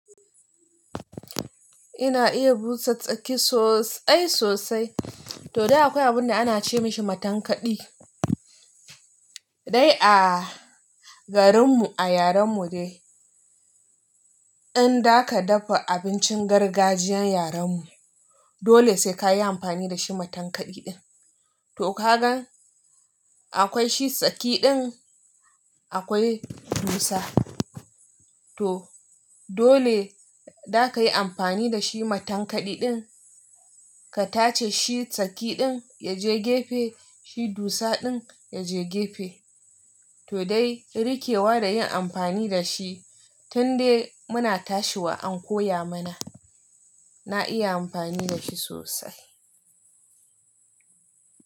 Ina iya busa tsaki sosai sosai to dai akwai abun da ana ce mashi matankaɗi. Dai a garin mu, a yaren mu dai in za ka dafa abincin gargajiyan yaren mu dole sai ka yi amfani da shi matankaɗi din. To ka gan akwai shi tsaki din akwai dusa. To dole za ka yi amfani da shi matankaɗi din. Ka tace shi tsaki din ya je gefe, shi dusa din ya je gefe. To dai riƙewa da yin amfani da shi tun dai muna tashiwa an koya mana. Na iya amfani da shi sosai.